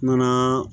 Nana